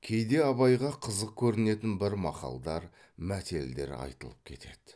кейде абайға қызық көрінетін бір мақалдар мәтелдер айтылып кетеді